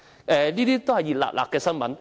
以上都是最近的新聞。